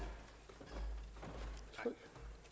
den